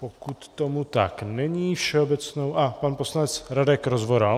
Pokud tomu tak není, všeobecnou... a pan poslanec Radek Rozvoral.